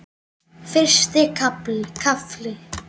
Fyrsti kafli